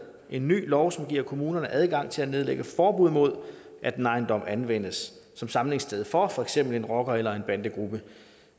en ny lov som giver kommunerne adgang til at nedlægge forbud mod at en ejendom anvendes som samlingssted for for eksempel en rocker eller en bandegruppe